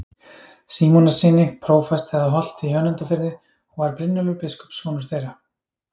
Símonarsyni, prófasti að Holti í Önundarfirði, og var Brynjólfur biskup sonur þeirra.